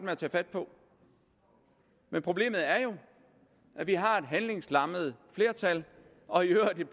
at tage fat på men problemet er jo at vi har et handlingslammet flertal og i øvrigt et